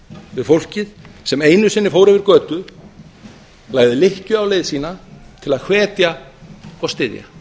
við fólkið sem einu sinni fór yfir götur lagði lykkju á leið sína til að hvetja og styðja